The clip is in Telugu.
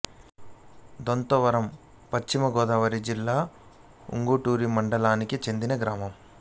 దొంతవరం పశ్చిమ గోదావరి జిల్లా ఉంగుటూరు మండలానికి చెందిన గ్రామం